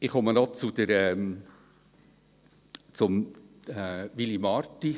Ich komme noch zu Willy Marti.